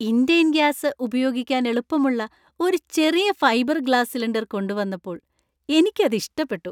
Indane gas, ഉപയോഗിക്കാൻ എളുപ്പമുള്ളു ഒരു ചെറിയ ഫൈബർ ഗ്ലാസ് സിലിണ്ടർ കൊണ്ടുവന്നപ്പോൾ എനിക്കത് ഇഷ്ടപ്പെട്ടു.